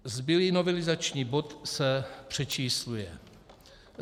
Zbylý novelizační bod se přečísluje.